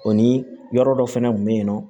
O ni yɔrɔ dɔ fɛnɛ kun be yen nɔ